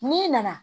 N'i nana